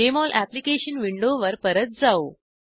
Jmol application विंडोवर परत जाऊ